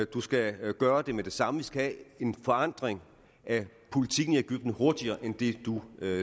du skal gøre det med det samme vi skal have en forandring af politikken i egypten hurtigere end det du